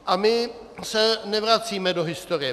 A my se nevracíme do historie.